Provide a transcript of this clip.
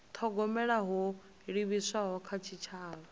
thogomela ho livhiswaho kha tshitshavha